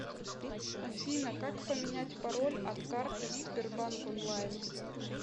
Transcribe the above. афина как поменять пароль от карты в сбербанк онлайн